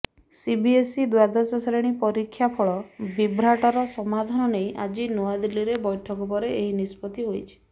CBSE ଦ୍ୱାଦଶ ଶ୍ରେଣୀ ପରୀକ୍ଷାଫଳ ବିଭ୍ରାଟର ସମାଧାନ ନେଇ ଆଜି ନୂଆଦିଲ୍ଲୀରେ ବୈଠକ ପରେ ଏହି ନିଷ୍ପତି ହୋଇଛି